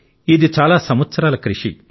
ఇది చాలా సంవత్సరాల కృషి